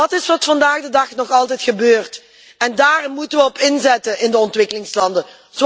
Dat is wat vandaag de dag nog altijd gebeurt en daar moeten we op inzetten in de ontwikkelingslanden.